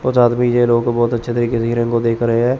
कुछ आदमी ये लोग बहोत अच्छे तरीके से हिरन को देख रे हैं।